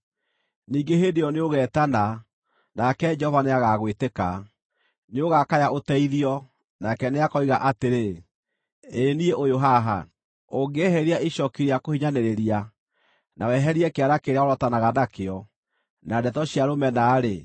Ningĩ hĩndĩ ĩyo nĩũgeetana, nake Jehova nĩagagwĩtĩka; nĩũgakaya ũteithio, nake nĩakoiga atĩrĩ: Ĩĩ niĩ ũyũ haha. “Ũngĩeheria icooki rĩa kũhinyanĩrĩria, na weherie kĩara kĩrĩa worotanaga nakĩo, na ndeto cia rũmena-rĩ,